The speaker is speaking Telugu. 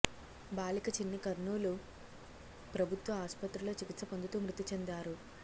బాలిక చిన్ని కర్నూలు ప్రభుత్వ ఆసుపత్రిలో చికిత్స పొందుతూ మృతి చెందారు